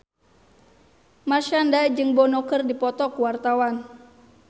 Marshanda jeung Bono keur dipoto ku wartawan